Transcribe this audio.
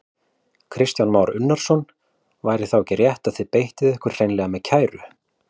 Kristján Már Unnarsson: Væri þá ekki rétt að þið beittuð ykkur hreinlega með kæru?